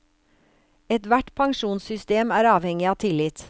Ethvert pensjonssystem er avhengig av tillit.